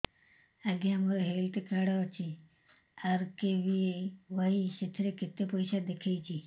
ଆଜ୍ଞା ମୋର health card ଅଛି ଆର୍.କେ.ବି.ୱାଇ ସେଥିରେ କେତେ ପଇସା ଦେଖଉଛି